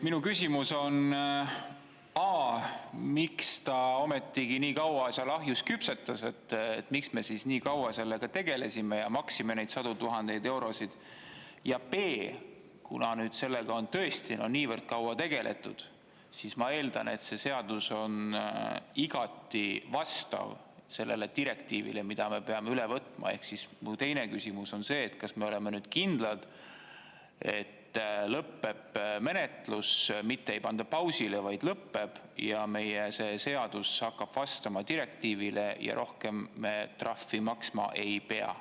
Minu küsimus on: a) miks ta ometigi nii kaua seal ahjus küpsetas, miks me siis nii kaua sellega tegelesime ja maksime neid sadu tuhandeid eurosid; ja b) kuna sellega on tõesti niivõrd kaua tegeletud, siis ma eeldan, et see seadus on igati vastav sellele direktiivile, mida me peame üle võtma, ehk siis mu teine küsimus on see, kas me oleme nüüd kindlad, et lõpeb menetlus, mitte ei panda pausile, vaid lõpeb, ja meie see seadus hakkab vastama direktiivile ja rohkem me trahvi maksma ei pea.